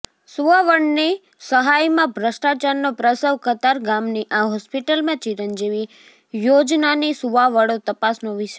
સુવાવડની સહાયમાં ભ્રષ્ટાચારનો પ્રસવ ઃ કતારગામની આ હોસ્પિટલમાં ચિરંજીવી યોજનાની સુવાવડો તપાસનો વિષય